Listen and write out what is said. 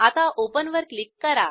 आता ओपन वर क्लिक करा